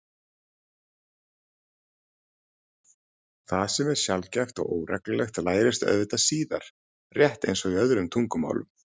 Það sem er sjaldgæft og óreglulegt lærist auðvitað síðar, rétt eins og í öðrum tungumálum.